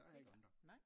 Der er ikke andre